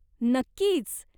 नक्कीच.